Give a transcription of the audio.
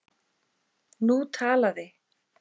Nú talaði